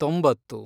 ತೊಂಬತ್ತು